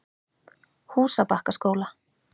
Húsabakkaskóla